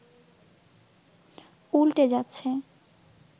উল্টে যাচ্ছে